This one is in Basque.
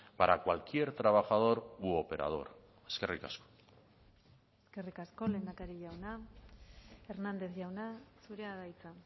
para cualquier trabajador u operador eskerrik asko eskerrik asko lehendakari jauna hernández jauna zurea da hitza